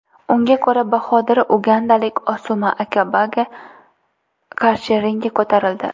Unga ko‘ra, Bahodir ugandalik Osuma Akabaga qarshi ringga ko‘tarildi.